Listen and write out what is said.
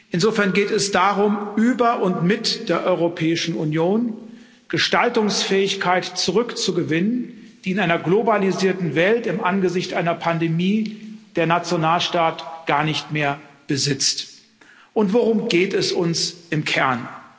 Insofern geht es darum, über und mit der Europäischen Union Gestaltungsfähigkeit zurückzugewinnen, die in einer globalisierten Welt im Angesicht einer Pandemie der Nationalstaat gar nicht mehr besitzt. Worum geht es uns im Kern?